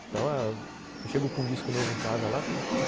Então, eu chego com um disco novo em casa lá.